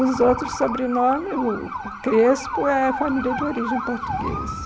Os outros sobrenomes, o o Crespo é família de origem portuguesa.